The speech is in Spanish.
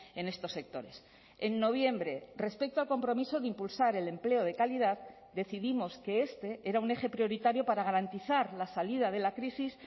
en estos sectores en noviembre respecto al compromiso de impulsar el empleo de calidad decidimos que este era un eje prioritario para garantizar la salida de la crisis